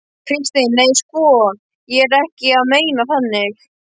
Kristín: Nei, sko ég er ekki að meina þannig.